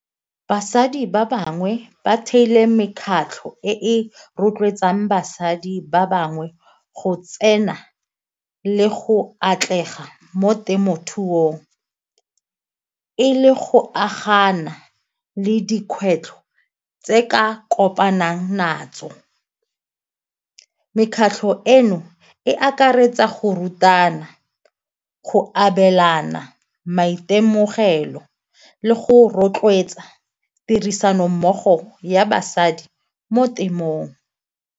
Basadi ba bangwe ba theilwe mekgatlho e rotloetsang basadi ba bangwe go tsena le go atlega mo temothuong, e le go agana le dikgwetlho tse ka kopanang natso. Mekgatlho eno e akaretsa go rutana go abelana maitemogelo le go rotloetsa tirisanommogo ya basadi mo temong.